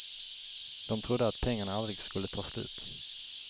De trodde att pengarna aldrig skulle ta slut.